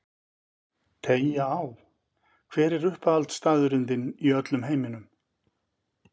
Teygja á Hver er uppáhaldsstaðurinn þinn í öllum heiminum?